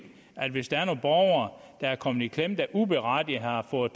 at nogle borgere der er kommet i klemme og uberettiget har fået